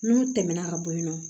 N'u tɛmɛna ka bo yiran